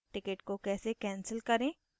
ticket को कैसे cancel करे